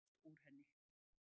Allt loft úr henni